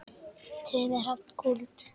Tumi Hrafn Kúld.